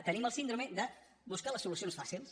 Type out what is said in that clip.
tenim la síndrome de buscar les solucions fàcils